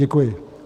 Děkuji.